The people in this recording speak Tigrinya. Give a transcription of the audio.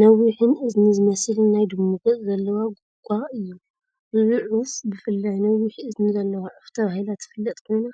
ነዊሕን እዝኒ ዝመስልን ናይ ድሙ ገፅ ዘለዎ "ጉጓ" እዩ። እዛ ዑፍ ብፍላይ "ነዊሕ እዝኒ ዘለዋ ዑፍ" ተባሂላ እትፍለጥ ኮይና፡